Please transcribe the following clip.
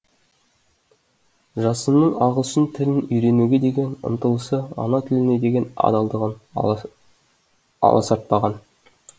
жасынның ағылшын тілін үйренуге деген ұмтылысы ана тіліне деген адалдығын аласартпаған